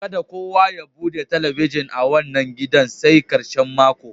Ka da kowa ya bude telebijin a wanan gidan sai karshen mako.